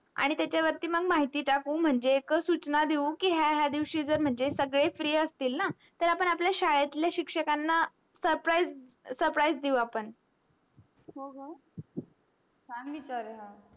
आपण त्याच्य्वर्ती महिटी टाकू म्हणजे सूचना देवू हि क्या ह्या ह्या दिवशी जर सगळे free असतील ना आपण आपल्या श्य्लेतल्या शिक्षकांना surprise देवू आपण हो चान विचार आहे हा